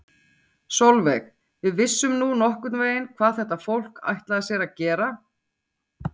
Sólveig: Við vissum nú nokkurn veginn hvað þetta fólk, ætlaði sér að gera?